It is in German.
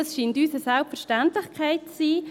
Dies scheint uns eine Selbstverständlichkeit zu sein.